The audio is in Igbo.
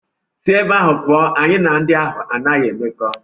Si ebe ahụ pụọ, anyị na ndị ahụ anaghị emekọ!